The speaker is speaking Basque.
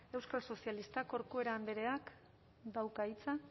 euskal sozialistak corcuera andreak dauka hitza